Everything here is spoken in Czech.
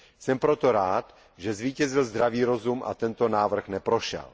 Jsem proto rád, že zvítězil zdravý rozum a tento návrh neprošel.